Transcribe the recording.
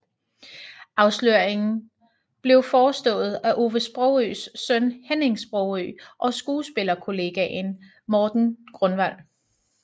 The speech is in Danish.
Afsløringen blev forestået af Ove Sprogøes søn Henning Sprogøe og skuespillerkollegaen Morten Grunwald